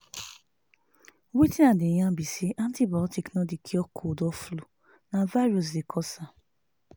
wetin i dey yarn be say antibiotics no dey cure cold or flu na virus dey cause am.